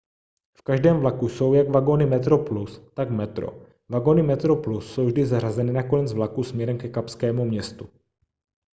v každém vlaku jsou jak vagony metroplus tak metro vagony metroplus jsou vždy zařazeny na konec vlaku směrem ke kapskému městu